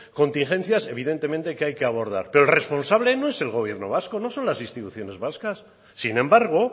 contingencias que evidentemente hay que abordar pero el responsable no es el gobierno vasco no son las instituciones vascas sin embargo